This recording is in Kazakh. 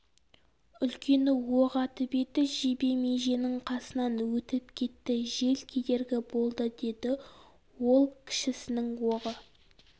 үлкені оқ атып еді жебе меженің қасынан өтіп кетті жел кедергі болды деді ол кішісінің оғы